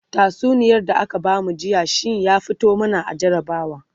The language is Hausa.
tatsuniyar da aka bamu jiya shinya fito mana a jarabawa